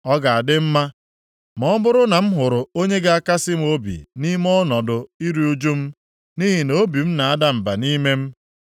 Ọ ga-adị mma ma ọ bụrụ na m hụrụ onye ga-akasị m obi nʼime ọnọdụ iru ụjụ m, nʼihi na obi m na-ada mba nʼime m. + 8:18 Maọbụ, Unu ndị na-akasị m obi nʼime ọnọdụ iru ụjụ m, obi m na-ada mba nʼime m.